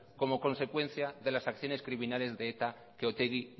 como consecuencia de las acciones criminales de eta que otegi